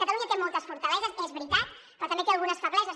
catalunya té moltes fortaleses és veritat però també té algunes febleses